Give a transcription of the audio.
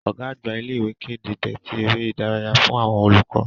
Ọ̀gá-àgbà ilé ìwé kéde déètì ère ìdárayá fún àwọn olùkọ́.